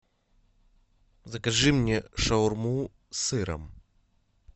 закажи мне шаурму с сыром